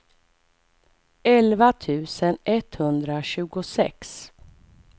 elva tusen etthundratjugosex